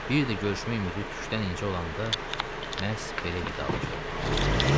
Bir də görüşmək ümidi tükdən incə olanda məhz belə vidalaşır adamlar.